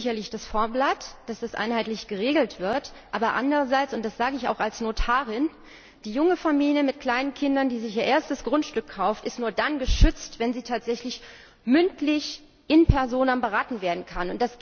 Gut ist sicherlich das Vorblatt, dass das einheitlich geregelt wird, aber andererseits und das sage ich auch als Notarin die junge Familie mit kleinen Kindern, die sich ihr erstes Grundstück kauft, ist nur dann geschützt, wenn sie tatsächlich mündlich in personam beraten werden kann.